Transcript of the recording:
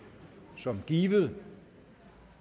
som givet